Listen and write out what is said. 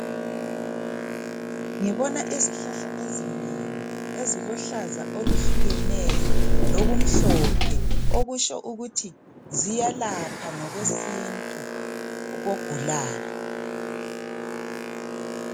Ngibona izihlahla ezinengi ,ezilohlaza oluhlukeneyo , lokumhlophe. Okusho ukuthi ziyalapha ngokwesintu kogulayo.